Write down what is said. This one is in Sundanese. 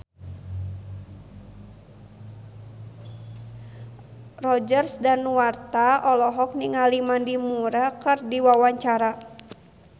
Roger Danuarta olohok ningali Mandy Moore keur diwawancara